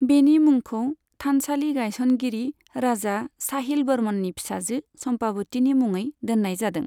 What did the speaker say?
बेनि मुंखौ थानसालि गायसनगिरि राजा साहिल बर्मननि फिसाजो चम्पाबतीनि मुङै दोननाय जादों।